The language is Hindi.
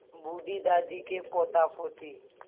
बूढ़ी दादी के पोतापोती